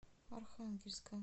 архангельска